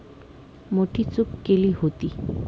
मोठी चूक केली होती.